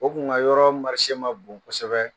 O kun ka yɔrɔ ma bon kosɛbɛ.